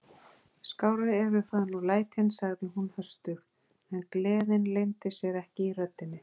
Skárri eru það nú lætin sagði hún höstug, en gleðin leyndi sér ekki í röddinni.